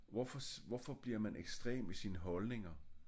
Hvorfor hvorfor bliver man ekstrem i sine holdninger